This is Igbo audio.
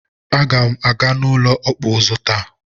Aga m na-aga n'ụlọ ọkpụ ụzụ taa.